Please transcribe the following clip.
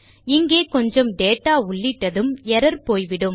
இங்கே கொஞ்சம் டேட்டா உள்ளிட்டதும் எர்ரர் போய்விடும்